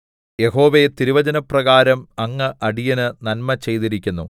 യഹോവേ തിരുവചനപ്രകാരം അങ്ങ് അടിയന് നന്മ ചെയ്തിരിക്കുന്നു